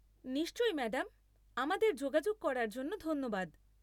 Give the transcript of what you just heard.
নিশ্চই ম্যাডাম। আমাদের যোগাযোগ করার জন্য ধন্যবাদ।